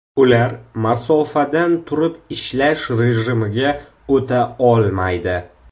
Ular masofadan turib ishlash rejimiga o‘ta olmaydi.